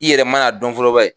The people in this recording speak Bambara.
I yɛrɛ man'a dɔn fɔlɔ banni